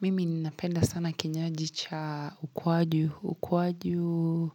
Mimi ninapenda sana kinywaji cha ukwaju ukwaju